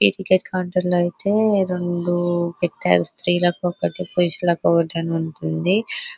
ఈ ticket counter లో అయితే రెండు పెట్టరు శ్రీలకు ఒక్కటి పురుషులకి ఒకటీ అని వుంటుంది.